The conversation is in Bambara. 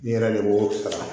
N yɛrɛ de b'o kalan